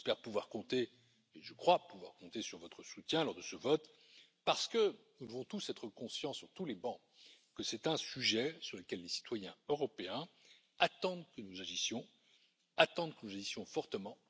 J'espère pouvoir compter, et je crois pouvoir compter sur votre soutien lors de ce vote, parce que nous devons tous être conscients, sur tous les bancs, que c'est un sujet sur lequel les citoyens européens attendent que nous agissions, attendent que nous agissions fortement.